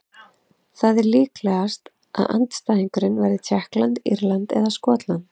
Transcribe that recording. Það er líklegast að andstæðingurinn verði Tékkland, Írland eða Skotland.